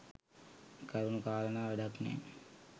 කරුණු කාරණා වැඩක් නෑ.